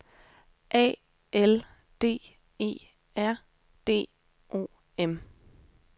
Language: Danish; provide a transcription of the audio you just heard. A L D E R D O M